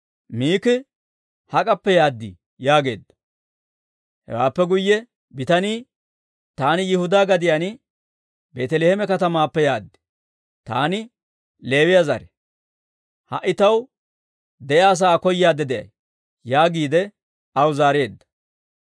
Miiki, «Hak'appe yaad?» yaageedda. Hewaappe guyye bitanii, «Taani Yihudaa gadiyaan Beeteleeme katamaappe yaad; taani Leewiyaa zare. Ha"i taw de'iyaa sa'aa koyaadde de'ay» yaagiide aw zaareedda.